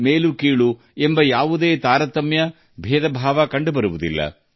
ಮೇಲಿನವರುಕೆಳಗಿನವರು ಎಂಬ ತಾರತಮ್ಯ ಇರುವುದಿಲ್ಲ